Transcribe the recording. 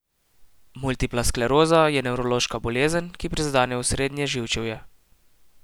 Multipla skleroza je nevrološka bolezen, ki prizadene osrednje živčevje.